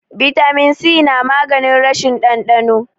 bitamin si namaganin rashin dandano